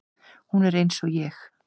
Hún er eins og ég.